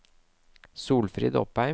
Solfrid Opheim